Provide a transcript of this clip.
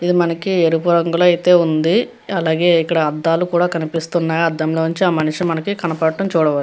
ఇది మనకి ఎరపు రంగులో అయితే ఉంది. అలాగే ఇక్కడ అద్దాలు కూడా కనిపిస్తున్నాయ్ అద్దం లో నుంచి ఆ మనిషి మనకి కనపడటం చూడవచ్చు.